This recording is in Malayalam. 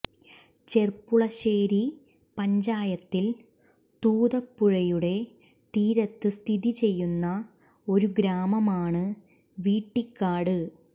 ചെർപ്പുളശ്ശേരി പഞ്ചായത്തിൽ തൂതപുഴയുടെ തീരത്ത് സ്ഥിതി ചെയ്യുന്ന ഒരു ഗ്രാമമാണ് വീട്ടിക്കാട്